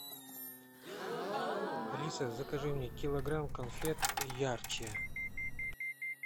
алиса закажи мне килограмм конфет ярче